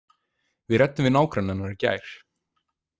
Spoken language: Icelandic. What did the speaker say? Við ræddum við nágranna hennar í gær.